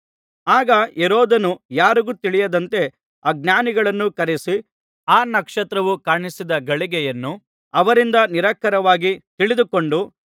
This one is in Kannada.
ಆಗ ಹೆರೋದನು ಯಾರಿಗೂ ತಿಳಿಯದಂತೆ ಆ ಜ್ಞಾನಿಗಳನ್ನು ಕರೆಯಿಸಿ ಆ ನಕ್ಷತ್ರವು ಕಾಣಿಸಿದ ಗಳಿಗೆಯನ್ನು ಅವರಿಂದ ನಿಖರವಾಗಿ ತಿಳಿದುಕೊಂಡು